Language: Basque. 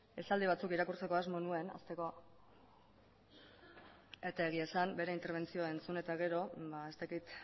esaldi batzuk irakurtzeko asmo nuen hasteko eta egia esan bere interbentzioa entzun eta gero ba ez dakit